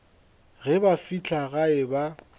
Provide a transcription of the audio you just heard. ge ba fihla gae ba